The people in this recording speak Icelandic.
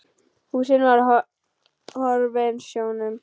Húsin voru horfin sjónum.